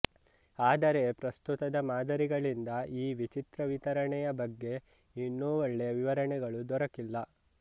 ಆದರೆ ಪ್ರಸ್ತುತದ ಮಾದರಿಗಳಿಂದ ಈ ವಿಚಿತ್ರ ವಿತರಣೆಯ ಬಗ್ಗೆ ಇನ್ನೂ ಒಳ್ಳೆಯ ವಿವರಣೆಗಳು ದೊರಕಿಲ್ಲ